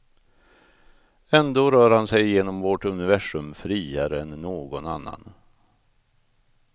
Ändå rör han sig genom vårt universum friare än någon annan.